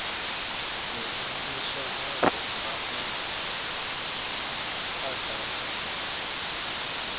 u rengiswa hafhu ha muḓagasi